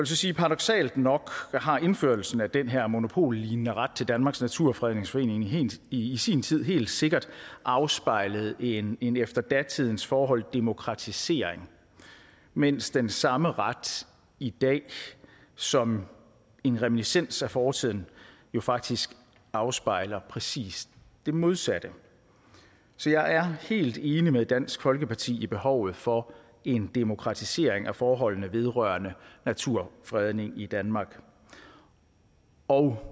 så sige at paradoksalt nok har indførelsen af den her monopollignende ret til danmarks naturfredningsforening i sin tid helt sikkert afspejlet en en efter datidens forhold demokratisering mens den samme ret i dag som en reminiscens af fortiden jo faktisk afspejler præcis det modsatte så jeg er helt enig med dansk folkeparti i behovet for en demokratisering af forholdene vedrørende naturfredning i danmark og